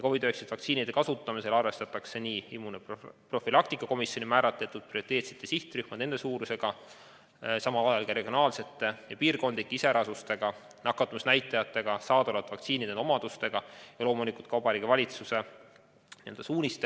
COVID-19 vaktsiinide kasutamisel arvestatakse nii immunoprofülaktika komisjoni määratud prioriteetsete sihtrühmade suurust, samal ajal ka regionaalseid ja piirkondlikke iseärasusi, nakatumisnäitajaid, saadaolevate vaktsiinide omadusi ja loomulikult ka Vabariigi Valitsuse enda suuniseid.